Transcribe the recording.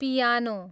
piano